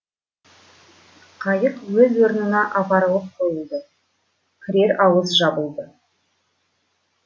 қайық өз орнына апарылып қойылды кірер ауыз жабылды